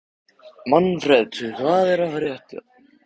Manfred, hvað er að frétta?